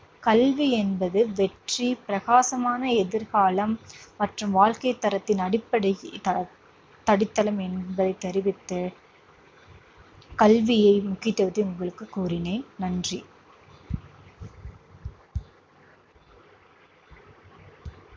கல்வி என்பது வெற்றி, பிரகாசமான எதிர்காலம் மற்றும் வாழ்க்கை தரத்தின் அடிப்படை இ~ அஹ் அடித்தளம் என்பதை தெரிவித்து கல்வியை முக்கியத்துவத்தை உங்களுக்குக் கூறினேன். நன்றி.